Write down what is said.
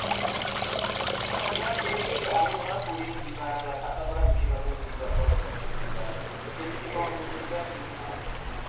ପଚାଶ କିଲୋମିଟର କେମିତି ଆମେ ଧର ପୁରୀରୁ ଯିବା ସାତପଡ଼ା ବୁଲିବାକୁ ଯିବା, ତକେମିତି କଣ route ରେ ଯିବା କେମିତି କଣ ସବୁ ହଁ